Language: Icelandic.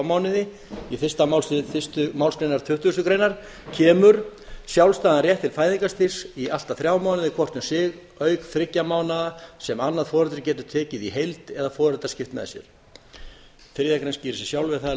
mánuði í fyrsta málslið fyrstu málsgrein tuttugustu greinar kemur sjálfstæðan rétt til fæðingarstyrks í allt að þrjá mánuði hvort um sig auk þriggja mánaða sem annað foreldrið getur tekið í heild eða foreldrar skipt með sér þriðja grein skýrir sig sjálf en það er